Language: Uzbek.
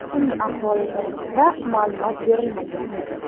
Uning ahvoli to‘g‘risida ma’lumot berilmagan.